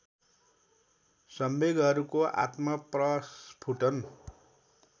संवेगहरूको आत्मप्रस्फुटन